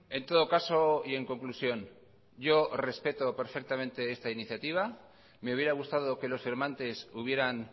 en todo caso y en conclusión yo respeto perfectamente esta iniciativa me hubiera gustado que los firmantes hubieran